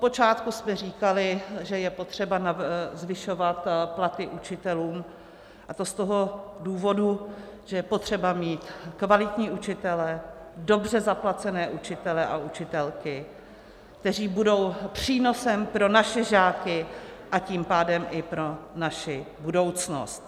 Odpočátku jste říkali, že je potřeba zvyšovat platy učitelům, a to z toho důvodu, že je potřeba mít kvalitní učitele, dobře zaplacené učitele a učitelky, kteří budou přínosem pro naše žáky, a tím pádem i pro naši budoucnost.